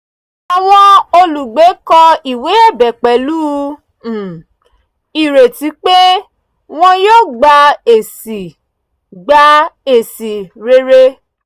àwọn olùgbé kọ ìwé ẹ̀bẹ̀ pẹ̀lú um ireti pé wọ́n yóò gba èsì gba èsì rere